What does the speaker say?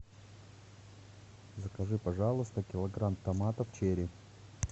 закажи пожалуйста килограмм томатов черри